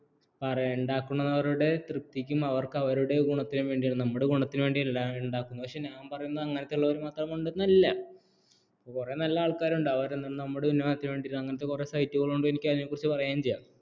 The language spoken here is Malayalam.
ഉണ്ടാക്കുന്നവരുടെ തൃപ്തിക്കുംഅവർക്ക് അവരുടെ ഗുണത്തിനു വേണ്ടിയാണ് നമ്മുടെ ഗുണത്തിനു വേണ്ടിയല്ല ഉണ്ടാക്കുന്നത് പക്ഷേ ഞാൻ പറയുന്നത് അങ്ങനത്ത് ഉള്ളവരെ മാത്രം ഉണ്ടെന്നല്ല കുറെ നല്ല ആൾക്കാർ ഉണ്ടാവും നമ്മുടെ ഉന്നമനത്തിനു വേണ്ടി അങ്ങനത്തെ കുറെ site കൾ ഉണ്ട് എനിക്ക് അതിനെക്കുറിച്ച് പറയുകയും ചെയ്യാം